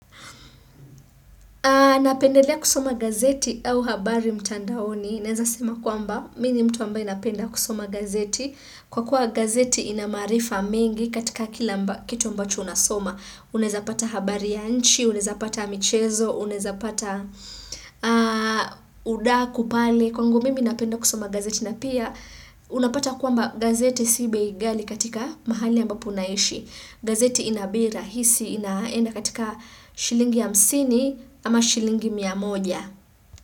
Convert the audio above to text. Napendelea kusoma gazeti au habari mtandaoni. Naeza sema kwamba, mi ni mtu ambaye napenda kusoma gazeti. Kwa kuwa gazeti inamaarifa mengi katika kila amba kitu ambacho unasoma. Uneza pata habari ya nchi, unaeza pata mchezo, unaeza pata udaku pale. Kwangu mimi napenda kusoma gazeti. Na pia, unapata kwamba gazeti si bei ghali katika mahali ambapo unaishi. Gazeti ina bei rahisi inaenda katika shilingi hamsini. Ama shilingi mia moja.